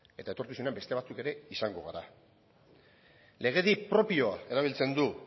eta etorkizunean beste batzuk ere izango gara legedi propioa erabiltzen du